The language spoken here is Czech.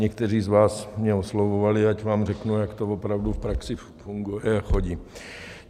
Někteří z vás mě oslovovali, ať vám řeknu, jak to opravdu v praxi funguje a chodí.